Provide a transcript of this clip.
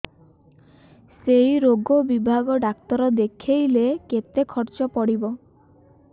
ସେଇ ରୋଗ ବିଭାଗ ଡ଼ାକ୍ତର ଦେଖେଇଲେ କେତେ ଖର୍ଚ୍ଚ ପଡିବ